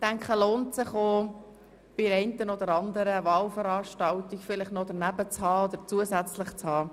Es lohnt sich meines Erachtens auch, es bei der einen oder anderen Wahlveranstaltung bei sich zu haben.